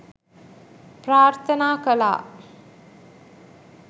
ප්‍රාර්ථනා කළා.